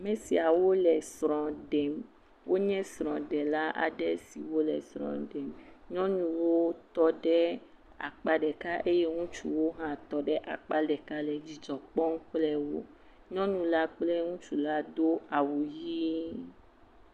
Ame siawo le srɔ̃ lem. Wonye srɔ̃ɖela aɖe siwo le srɔ̃ ɖem. Nyɔnuwo tɔ ɖe akpa ɖeka eye ŋutsuwo hã tɔ ɖe akpa ɖeka le dzidzɔ kpɔm kple wo. Nyɔnu la kple ŋutsu la do awu ʋi.